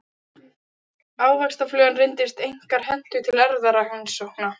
Ávaxtaflugan reyndist einkar hentug til erfðarannsókna.